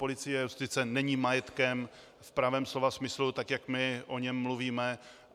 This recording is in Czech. Policie a justice není majetkem v pravém slova smyslu tak, jak my o něm mluvíme.